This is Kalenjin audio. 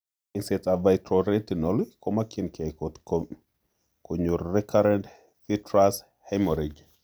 Eng'seet ab Vitreoretinal kemokyikee kot konyoo recurrent vitreous hemorrhage